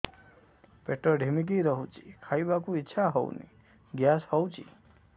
ପେଟ ଢିମିକି ରହୁଛି ଖାଇବାକୁ ଇଛା ହଉନି ଗ୍ୟାସ ହଉଚି